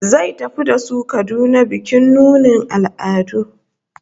Zai tafi da su Kaduna bikin nunin al'adu